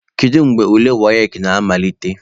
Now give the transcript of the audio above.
Kedu mgbe ule WAEC na-amalite?